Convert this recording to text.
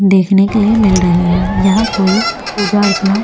देखने के लिए मिल रहीं है यहाँ कोई पूजा अर्चना।